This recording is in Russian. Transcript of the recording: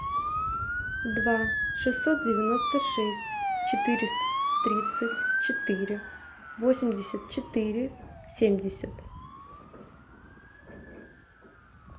два шестьсот девяносто шесть четыреста тридцать четыре восемьдесят четыре семьдесят